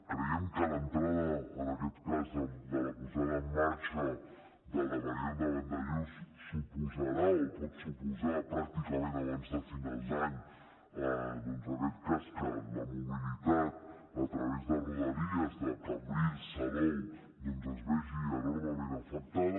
creiem que l’entrada de la posada en marxa de la variant de vandellòs suposarà o pot suposar pràcticament abans de finals d’any doncs que la mobilitat a través de rodalies de cambrils salou es vegi enormement afectada